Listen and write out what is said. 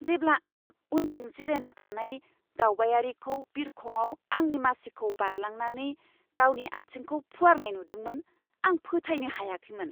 जेब्ला आं उनथिं जिरायना थानाय दावबायारिखौ बिरखंआव आंनि मासिखौ बारलांनानै गावनि आथिंखौ फुवारनाय नुदोंमोन, आं फोथायनो हायाखैमोन!